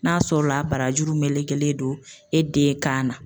N'a sɔrɔla a barajuru melekelen don e den kan na